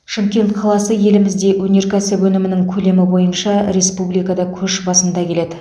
шымкент қаласы елімізде өнеркәсіп өнімінің көлемі бойынша республикада көш басында келеді